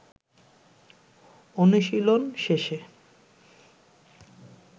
অনুশীলন শেষে